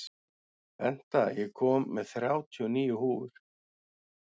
Benta, ég kom með þrjátíu og níu húfur!